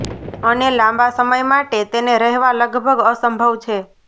અને લાંબા સમય માટે તેને રહેવા લગભગ અસંભવ છે